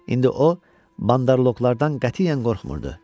İndi o bandarloklardan qətiyyən qorxmurdı.